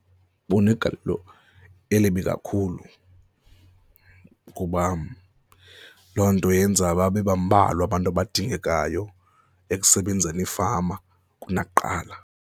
Bunegalelo elibi kakhulu kuba loo nto yenza babe bambalwa abantu abadingekayo ekusebenzeni iifama kunakuqala.